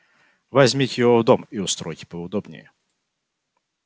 возьмите его в дом и устройте поудобнее